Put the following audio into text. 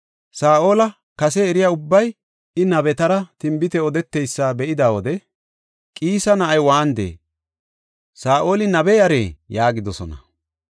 Saa7ola kase eriya ubbay I nabetara tinbite odeteysa be7ida wode, “Qiisa na7ay waanidee? Saa7oli nabe yaree?” yaagidosona.